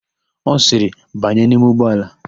Ọ sịrị, "banye n'ime ụgbọala"!